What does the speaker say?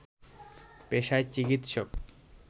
পেশায় চিকিৎসক